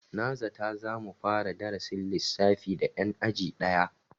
Na zata za mu fara darasin lissafi da 'yan aji daya.